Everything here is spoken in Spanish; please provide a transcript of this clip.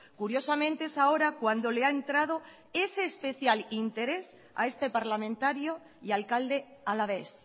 curiosamente es ahora cuando le ha entrado ese especial interés a este parlamentario y alcalde alavés